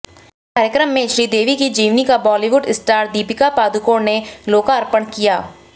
कार्यक्रम में श्रीदेवी की जीवनी का बॉलिवुड स्टार दीपिका पादुकोण ने लोकार्पण किया